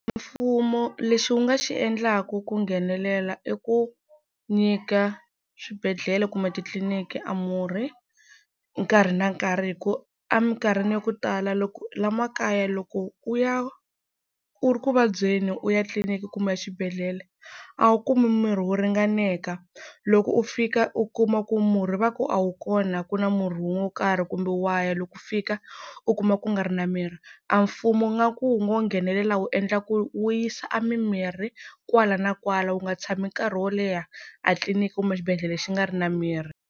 Mfumo lexi wu nga xi endlaku ku nghenelela i ku nyika swibedhlele kumbe titliniki a murhi nkarhi na nkarhi hi ku a minkarhini ya ku tala loko, la makaya loko u ya u ri ku vabyeni u ya tliliniki kumbe exibedhlele a wu kumi mirhi wo ringaneka, loko u fika u kuma ku murhi va ku a wu kona ku na murhi wo karhi. Kumbe wa ya loko fika u kuma ku nga ri na mirhi. A mfumo ingaku wu ngo nghenelela wu endla ku wu yisa a mimirhi kwala na kwala wu nga tshami nkarhi wo leha a tliliniki kumbe xibedhlele xi nga ri na mirhi.